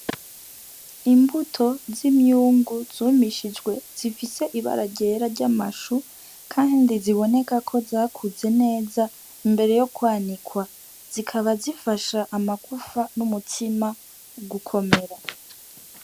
Imbuto z'imyungu zumishijwe zifise ibara ryera ry'amashu. kandi ziboneka ko zakuze neza imbere yo kwanikwa. Zikaba zifasha amagufa n'umutima gukomera.